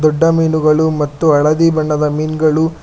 ದೊಡ್ಡ ಮೀನುಗಳು ಮತ್ತು ಹಳದಿ ಬಣ್ಣದ ಮೀನುಗಳು.